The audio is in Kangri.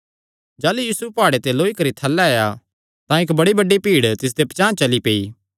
जाह़लू यीशु प्हाड़े ते लुत्था तां इक्क बड़ी बड्डी भीड़ तिसदे पचांह़ चली पेई